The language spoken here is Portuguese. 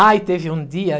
Ai, teve um dia